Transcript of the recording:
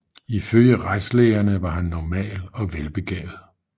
Ifølge retslægerne var han normal og velbegavet